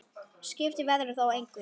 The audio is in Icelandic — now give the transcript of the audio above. Skipti veðrið þá engu.